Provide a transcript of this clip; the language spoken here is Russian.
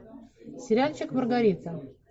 сериальчик маргарита